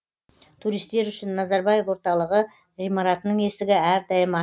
туристер үшін назарбаев орталығы ғимаратының есігі әрдайым ашық